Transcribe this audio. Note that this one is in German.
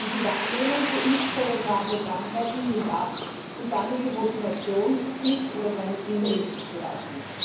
Die Wahrnehmung für impfpräventable Krankheiten nimmt ab und damit die Motivation, sich oder seine Kinder impfen zu lassen.